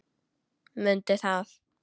Mundu það.